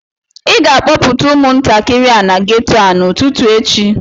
ị ga-akpọpụta umuntakịrị a na geto a n'ụtụtụ echi